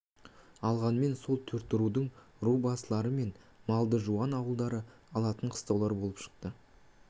алғанмен сол төрт рудың ру басылары және малды жуан ауылдары алатын қыстаулар боп шықты